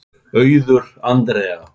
Auður Andrea.